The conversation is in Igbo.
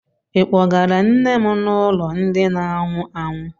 Ị kpọgara nne m n'ụlọ ndị na anwụ anwụ?